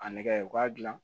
A nɛgɛ u k'a dilan